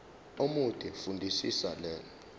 omude fundisisa le